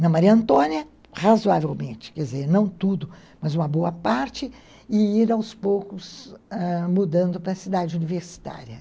Na Maria Antônia, razoavelmente, quer dizer, não tudo, mas uma boa parte, e ir aos ãh poucos mudando para a cidade universitária.